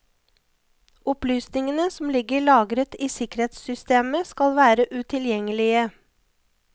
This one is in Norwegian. Opplysningene som ligger lagret i sikkerhetssystemet skal være utilgjengelige.